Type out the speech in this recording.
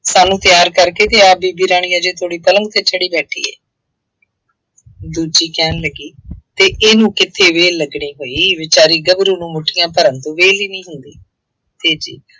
ਸਾਨੂੰ ਤਿਆਰ ਕਰਕੇ ਤੇ ਆਪ ਬੀਬੀ ਰਾਣੀ ਹਜੇ ਪਲੰਘ ਤੇ ਚੜ੍ਹੀ ਬੈਠੀ ਹੈ। ਦੂਜੀ ਕਹਿਣ ਲੱਗੀ ਅਤੇ ਇਹਨੂੰ ਕਿੱਥੇ ਵਿਹਲ ਲੱਗਣੀ ਭਾਈ ਵਿਚਾਰੀ ਗੱਭਰੂ ਨੂੰ ਮੁੱਠੀਆਂ ਭਰਨ ਤੋਂ ਵਿਹਲ ਹੀ ਨਹੀਂ ਹੁੰਦੀ।